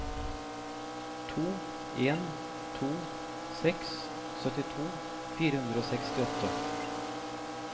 to en to seks syttito fire hundre og sekstiåtte